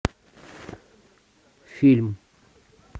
фильм